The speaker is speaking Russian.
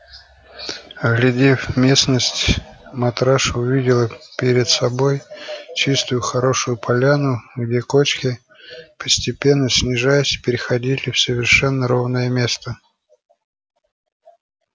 оглядев местность матраша увидела перед собой чистую хорошую поляну где кочки постепенно снижаясь переходили в совершенно ровное место